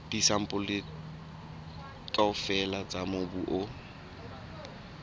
disampole kaofela tsa mobu o